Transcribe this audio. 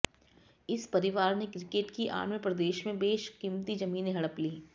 इस परिवार ने क्रिकेट की आड़ में प्रदेश में बेशकीमती जमीनें हड़प लीं